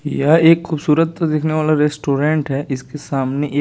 यह एक खुबसूरत तो दिखने वाला रेस्टोरेंट है इसके सामने एक--